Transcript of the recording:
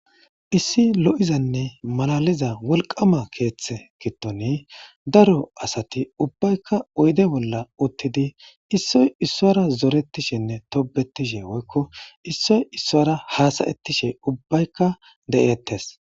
Issi lo7izanne malaliza wolqama keeththe gittoni daro asati ubbaykka oyde bolla uttidi issoy issora zoretishenne tobetishe woykko issoy issora haasayettishe ubbaykka de7eettes.